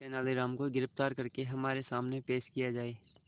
तेनालीराम को गिरफ्तार करके हमारे सामने पेश किया जाए